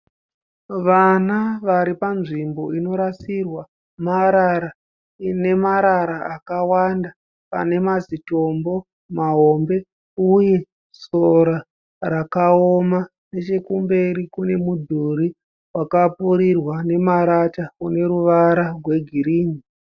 Vana varipanzvimbo inorasirwa marara . Ine marara akawanda, pane mazi tombo mahombe uye sora rakaoma. Nechekumberi kune mudhuri wakapfirirwa nemarata une ruvara rwe girinhi.